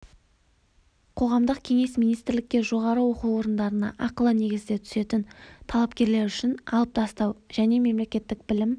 қоғамдық кеңес министрлікке жоғары оқу орындарына ақылы негізде түсетін талапкерлер үшін алып тастау және мемлекеттік білім